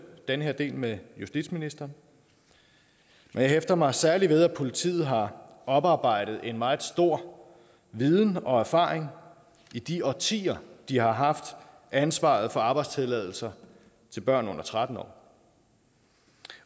den her del med justitsministeren men jeg hæfter mig særlig ved at politiet har oparbejdet en meget stor viden og erfaring i de årtier de har haft ansvaret for arbejdstilladelser til børn under tretten år